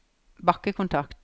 bakkekontakt